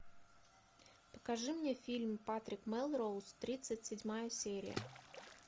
покажи мне фильм патрик мелроуз тридцать седьмая серия